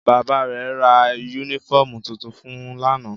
Bàbá rẹ̀ ra yúnífọ̀mù tuntun fun lánàá